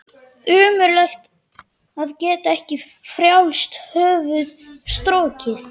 Ömurlegt að geta ekki um frjálst höfuð strokið.